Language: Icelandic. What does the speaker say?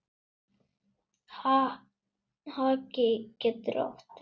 Haki getur átt við